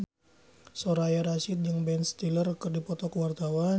Soraya Rasyid jeung Ben Stiller keur dipoto ku wartawan